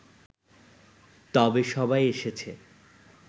তবে সবাই এসেছে